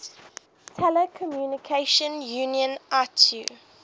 telecommunication union itu